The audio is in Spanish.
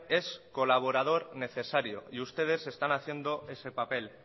es colaborador necesario y ustedes están haciendo ese papel